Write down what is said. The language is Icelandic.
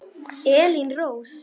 Elín Rós.